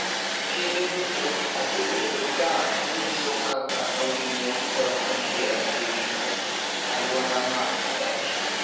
Kinde duto asebedo ka anyiso kaka awinjo kod adiera e wi alwora ma adakie.